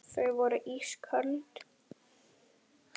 Þau voru ísköld.